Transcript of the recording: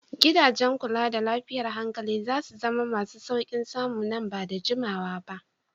Gidajen kula da lafiyar hankali za su zama masu sauƙin samu nan ba da jimawa ba.